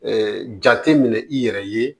jate minɛ i yɛrɛ ye